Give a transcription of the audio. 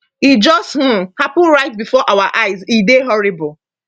e just um happun right bifor our eyes e dey horrible